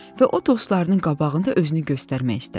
Və o dostlarının qabağında özünü göstərmək istədi.